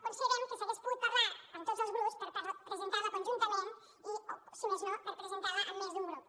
considerem que s’hagués pogut parlar amb tots els grups per presentar la conjuntament i si més no per presentar la amb més d’un grup